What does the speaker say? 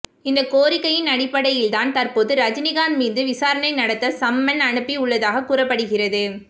இந்த கோரிக்கையின் அடிப்படையில் தான் தற்போது ரஜினிகாந்த் மீது விசாரணை நடத்த சம்மன் அனுப்பி உள்ளதாகக் கூறப்படுகிறது